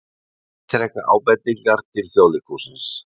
Ítreka ábendingar til Þjóðleikhússins